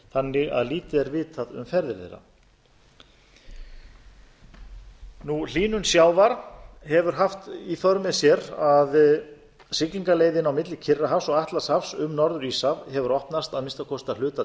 þannig að lítið er vitað um ferðir þeirra hlýnun sjávar hefur haft í för með sér að siglingaleiðin milli kyrrahafs og atlantshafs um norður íshaf hefur opnast að minnsta kosti að hluta